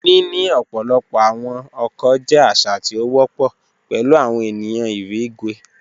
Nini ọpọlọpọ awọn ọkọ jẹ aṣa ti o wọpọ pẹlu awọn eniyan irigwe.